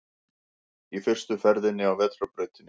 Í fyrstu ferðinni á vetrarbrautinni